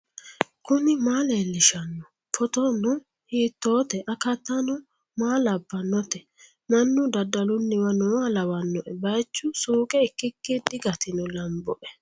kuni maa leellishshanno ? photono hiittote ? akatano maa labbannote ? mannu dadalunniwa nooha lawanno baychu suuqe ikkiki digatino lamboe.